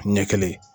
Ɲɛ kelen